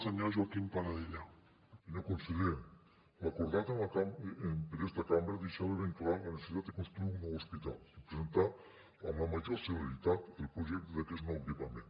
senyor conseller l’acordat per esta cambra deixava ben clar la necessitat de construir un nou hospital i presentar amb la major celeritat el projecte d’aquest nou equipament